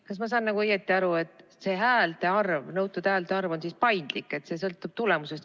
Kas ma saan õigesti aru, et nõutud häälte arv on paindlik ja sõltub tulemusest?